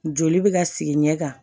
Joli bɛ ka sigi ɲɛ kan